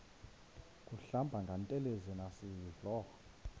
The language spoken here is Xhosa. kuhlamba ngantelezi nasidlo